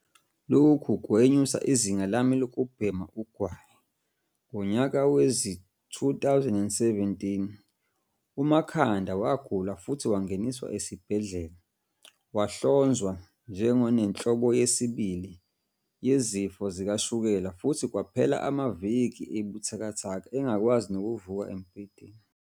"Lokhu kwenyusa izinga lami lokubhema ugwayi." Ngonyaka wezi-2017, uMakhanda wagula futhi wangeniswa esibhedlela. Wahlonzwa nje ngonenhlobo yesibili yezifo zikashukela futhi kwaphela amaviki ebuthakathaka engakwazi nokuvuka embhedeni.